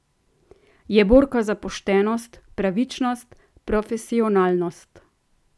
Je borka za poštenost, pravičnost, profesionalnost.